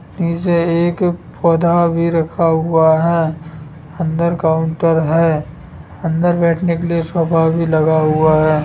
नीचे एक पौधा भी रखा हुआ है अंदर काउंटर है अंदर बैठने के लिए सोफा भी लगा हुआ है।